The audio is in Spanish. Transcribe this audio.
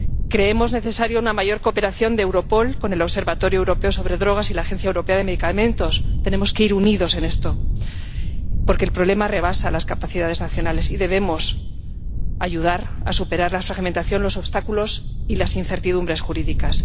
Creemos necesaria una mayor cooperación de Europol con el Observatorio Europeo de las Drogas y las Toxicomanías y la Agencia Europea de Medicamentos. Tenemos que ir unidos en esto porque el problema rebasa las capacidades nacionales y debemos ayudar a superar la fragmentación, los obstáculos y las incertidumbres jurídicas.